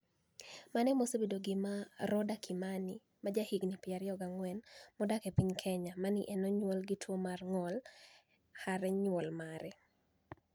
Mano e mosebedo gima Rodah Kimanii, ma jahiginii 24 modak e piniy Keniya, ma ni e oniyuol gi tuwo mar nig'ol hare niyuol mare .